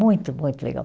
Muito, muito legal.